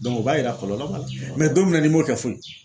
o b'a jira kɔlɔlɔ b'a la mɛ don min na n'i m'o kɛ foyi